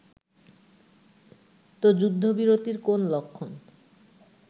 ত যুদ্ধবিরতির কোন লক্ষণ